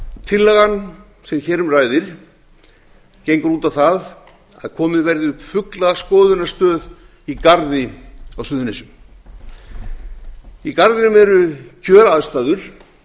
tillagan sem hér um ræðir gengur út á það að komið verði upp fuglaskoðunarstöð í garði á suðurnesjum í garðinum eru kjöraðstæður